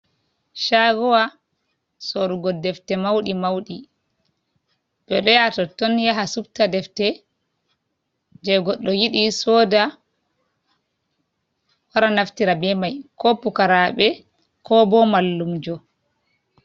Chagowa sorugo defte mauɗi mauɗi, ɓe ɗo yaha totton yaha subta defte je goɗɗo yidi soda wara naftira be mai ko pukaraɓe, ko ɓo mallumjo.